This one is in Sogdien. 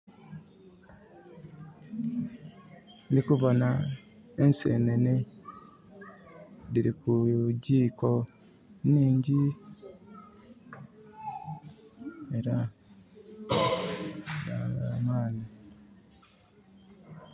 Ndikuboona ensenene. Dhiri ku gyiiko nhingi era dabamani